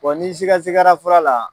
nin siga sigara fura la.